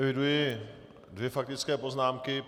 Eviduji dvě faktické poznámky.